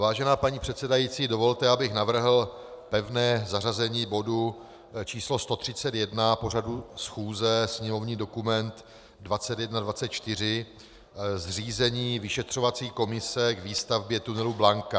Vážená paní předsedající, dovolte, abych navrhl pevné zařazení bodu číslo 131 pořadu schůze, sněmovní dokument 2124, Zřízení vyšetřovací komise k výstavbě tunelu Blanka.